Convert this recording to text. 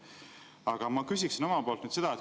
Aga ma küsiksin omalt poolt nüüd seda.